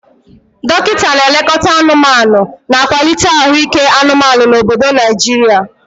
Dokita na-elekọta anụmanụ, na-akwalite ahụike anụmanụ na obodo Naijiria.